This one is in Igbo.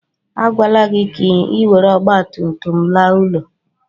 A gwala gị ka ị were ọgbatumtum laa ụlọ.